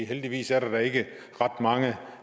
heldigvis er der da ikke ret mange